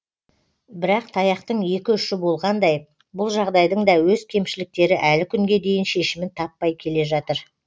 бірақ таяқтың екі ұшы болғандай бұл жағдайдың да өз кемшіліктері әлі күнге дейін шешімін таппай келе жатыр